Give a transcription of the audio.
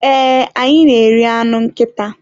Ee, anyị na-eri anụ nkịta.